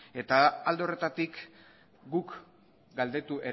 eta alde horretatik